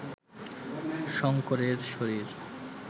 শঙ্করের শরীর